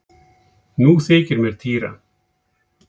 Nú þykir mér týra!